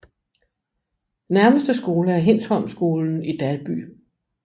Nærmeste skole er Hindsholmskolen i Dalby